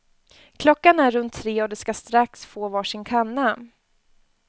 Klockan är runt tre och de ska strax få var sin kanna.